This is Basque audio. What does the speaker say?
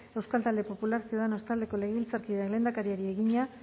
euskal talde popular ciudadanos taldeko legebiltzarkideak lehendakariari egina